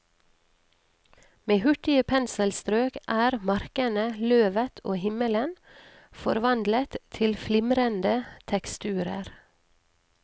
Med hurtige penselstrøk er markene, løvet og himmelen forvandlet til flimrende teksturer.